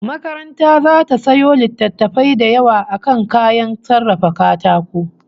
Makaranta zata sayo littattafai da yawa akan kayan sarrafa katako